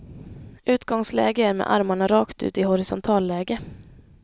Utgångsläge är med armarna rakt ut i horisontalläge.